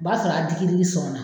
O b'a sɔrɔ a digi digi sɔnna.